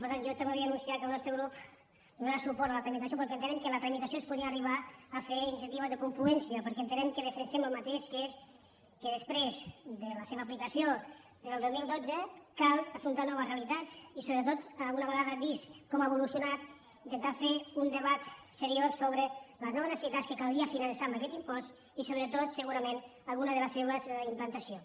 per tant jo també vull anunciar que el nostre grup donarà suport a la tramitació perquè entenem que en la tramitació es podrien arribar a fer iniciatives de confluència perquè entenem que defensem el mateix que és que després de la seva aplicació des del dos mil dotze cal afrontar noves realitats i sobretot una vegada vist com ha evolucionat intentar fer un debat seriós sobre les noves necessitats que caldria finançar amb aquest impost i sobretot segurament algunes de les seves implantacions